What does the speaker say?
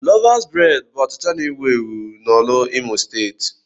Lọvas breed bụ achịcha na-ewu ewu na Orlu, Imo steeti.